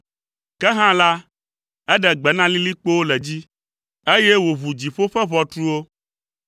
Ke hã la, eɖe gbe na lilikpowo le dzi, eye wòʋu dziƒo ƒe ʋɔtruwo,